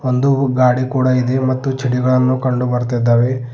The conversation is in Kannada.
ಒಂದು ಗಾಡಿ ಕೂಡ ಇದೆ ಮತ್ತು ಚಿಡಿಗಳನ್ನು ಕಂಡು ಬರ್ತೀದ್ದಾವೆ.